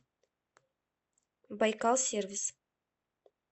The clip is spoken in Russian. байкал сервис